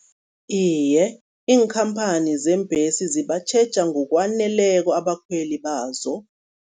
Iye, iinkhamphani zeembhesi zibatjheja ngokwaneleko abakhweli bazo.